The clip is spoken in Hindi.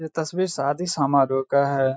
ये तस्‍वीर शादी समारोह का है।